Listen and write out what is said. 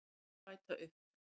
Því má bæta upp